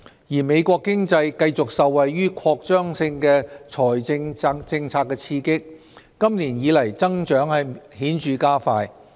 而美國經濟繼續受惠於擴張性財政政策的刺激，今年以來增長顯著加快。